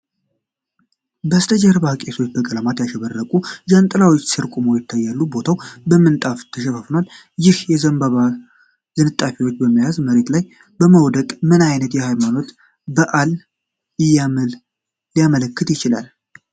ከበስተጀርባ ቄሶች በቀለማት ያሸበረቁ ዣንጥላዎች ስር ቆመው ይታያሉ፤ ቦታው በምንጣፍ ተሸፍኗል። ይህ የዘንባባ ዝንጣፊዎችን በመያዝ መሬት ላይ መውደቅ ምን ዓይነት የሃይማኖታዊ በዓልን ሊያመለክት ይችላል?